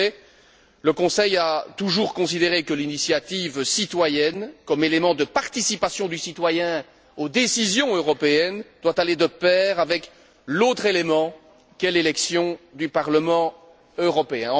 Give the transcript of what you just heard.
En effet, le Conseil a toujours considéré que l'initiative citoyenne, comme élément de participation du citoyen aux décisions européennes, doit aller de pair avec l'autre élément qu'est l'élection du Parlement européen.